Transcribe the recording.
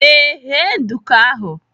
Ee, ghee nduku ahụ.